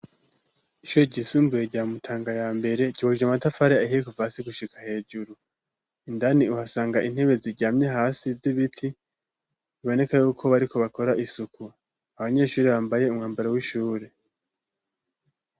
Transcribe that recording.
Ishure ryisumbuye rya mutanga ya mbere ryubakishije amatafare ahiyekuva asi gushika hejuru indani uhasanga intebe zijyamye hasi z'ibiti iboneka yuko bariko bakora isuku abanyeshuri bambaye umwambaro w'ishure.